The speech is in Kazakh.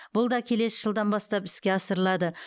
бұл да келесі жылдан бастап іске асырылады